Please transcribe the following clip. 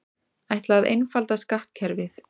Ætla að einfalda skattkerfið